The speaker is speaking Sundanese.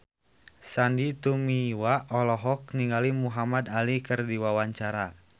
Sandy Tumiwa olohok ningali Muhamad Ali keur diwawancara